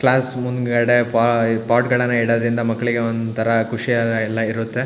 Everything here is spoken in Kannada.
ಕ್ಲಾಸ್ ಮುಂದಗಡೆ ಪಾ ಪೊಟ್ ಗಳನ್ನ ಇಡೋದ್ರಿಂದ ಮಕ್ಕಳಿಗೆ ಒಂತರ ಖುಷಿ ಎಲ್ಲಾ ಇರುತ್ತೆ.